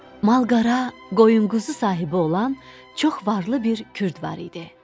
Mal qara, qoyun-quzu sahibi olan çox varlı bir kürd var idi.